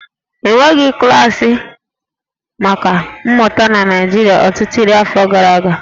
E nweghị klaasị maka mmụta na Naịjirịa ọtụtụ iri afọ gara aga